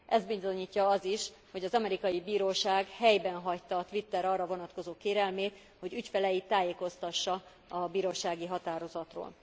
Ezt bizonyítja az is, hogy az amerikai bíróság helyben hagyta a Twitter arra vonatkozó kérelmét, hogy ügyfeleit tájékoztassa a bírósági határozatról.